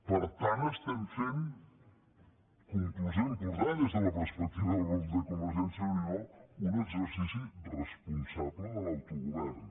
per tant estem fent conclusió important des de la perspectiva del grup de convergència i unió un exercici responsable de l’autogovern